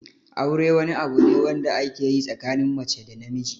Aure wani abu ne wanda ake yi tsakanin mace da namiji.